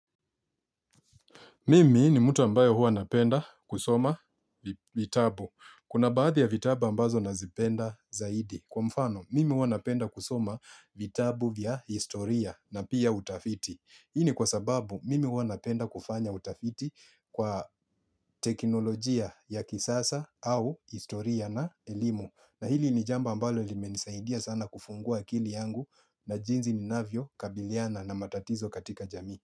Mimi ni mtu ambayo hua napenda kusoma vitabu. Kuna baadhi ya vitabu ambazo nazipenda zaidi. Kwa mfano, mimi hua napenda kusoma vitabu vya historia na pia utafiti. Hii ni kwa sababu, mimi hua napenda kufanya utafiti kwa teknolojia ya kisasa au historia na elimu. Na hili ni jambo ambalo limenisaidia sana kufungua kili yangu na jinsi ni navyo kabiliana na matatizo katika jamii.